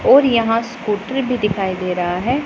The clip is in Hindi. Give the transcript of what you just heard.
और यहां पर स्कूटर भी दिखाई दे रहा है।